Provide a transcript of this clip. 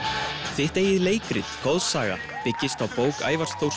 þitt eigið leikrit goðsaga byggist á bók Ævars Þórs